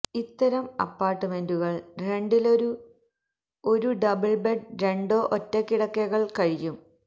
ഇത്തരം അപ്പാർട്ട്മെന്റുകൾ രണ്ടിലൊരു ഒരു ഡബിൾ ബെഡ് രണ്ടോ ഒറ്റ കിടക്കകൾ കഴിയും